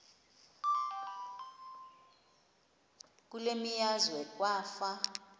kule meazwe kwafa